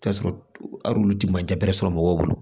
T'a sɔrɔ al'olu ti majarɛ sɔrɔ mɔgɔw bolo